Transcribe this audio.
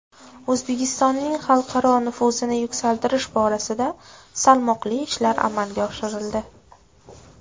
O‘zbekistonning xalqaro nufuzini yuksaltirish borasida salmoqli ishlar amalga oshirildi.